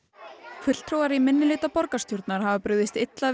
fulltrúar í minnihluta borgarstjórnar hafa brugðist illa við